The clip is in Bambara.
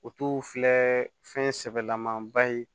O t'u filɛ fɛn sɛbɛlamanba ye